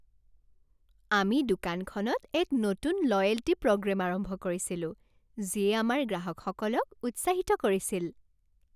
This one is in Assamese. আমি দোকানখনত এক নতুন লয়েল্টী প্ৰগ্ৰেম আৰম্ভ কৰিছিলো যিয়ে আমাৰ গ্ৰাহকসকলক উৎসাহিত কৰিছিল।